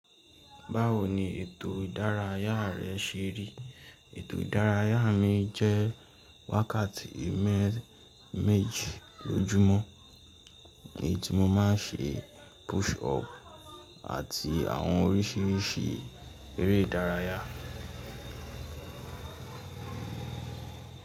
Báwo ni ètò ìdárayá rẹ ṣe rí? Ètò ìdárayá mi jẹ́ wákàtí mẹ́ẹ̀ méjì lójúmọ́, èyí tí mo má n ṣe push up àti àwọn oríṣiríṣi eré ìdárayá.